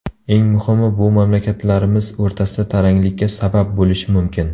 Eng muhimi, bu mamlakatlarimiz o‘rtasida taranglikka sabab bo‘lishi mumkin.